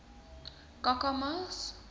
kakamas